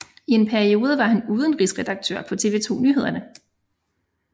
I en periode var han udenrigsredaktør på TV 2 Nyhederne